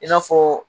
I n'a fɔ